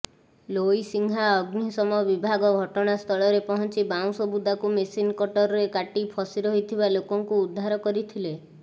ଲୋଇସିଂହା ଅଗ୍ନିଶମ ବିଭାଗ ଘଟଣାସ୍ଥଳରେ ପହଞ୍ଚି ବାଉଁଶ ବୁଦାକୁ ମେସିନ କଟରରେ କାଟି ଫସି ରହିଥିବା ଲୋକଙ୍କୁ ଉଦ୍ଧାର କରିଥିଲେ